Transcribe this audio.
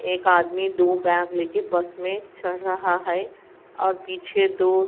एक आदमी दो बैग लेकर बस में चढ़ रहा है और पीछे दो--